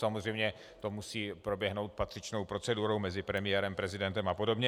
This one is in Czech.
Samozřejmě to musí proběhnout patřičnou procedurou mezi premiérem, prezidentem a podobně.